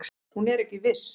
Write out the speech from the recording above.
Hún er ekki viss.